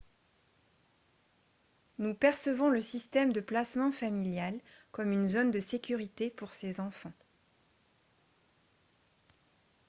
nous percevons le système de placement familial comme une zone de sécurité pour ces enfants